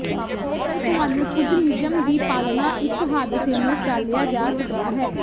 ਜੇਕਰ ਤੁਹਾਨੂੰ ਕੁਝ ਨਿਯਮ ਦੀ ਪਾਲਣਾ ਇੱਕ ਹਾਦਸੇ ਨੂੰ ਟਾਲਿਆ ਜਾ ਸਕਦਾ ਹੈ